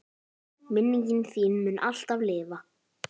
Minning þín mun alltaf lifa.